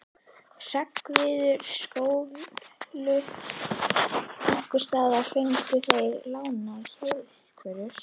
Hreggviður skóflu, einhversstaðar fengu þeir lánaðar hjólbörur.